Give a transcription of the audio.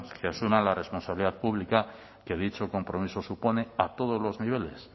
que asuman la responsabilidad pública que dicho compromiso supone a todos los niveles